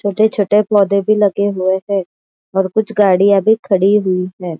छोटे छोटे पौधे भी लगे हुए है और कुछ गाड़िया भी खडी हुई है।